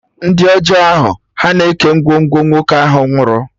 Ndị ọjọọ ahụ, ha na-eke ngwongwo nwoke ahụ nwụrụ